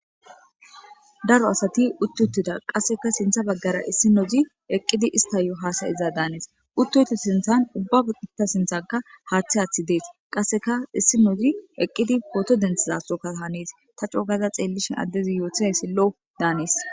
Daro asati uti utira qaseka sinta bagara issinozi eqidi istayo hasayiza danes utoyito sintan ubatu sintanika haththi hathti deas qaseka issinozi eqizi poto dtntizakone hanes ta qogada xelishe addezi yotizayis lo danes.